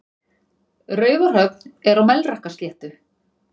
Raufarhöfn er á Melrakkasléttu.